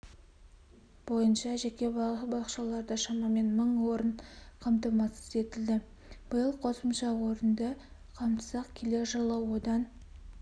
бойынша жеке балабақшаларда шамамен мың орын қамтамасыз етілді биыл қосымша орынды қамтысақ келер жылы одан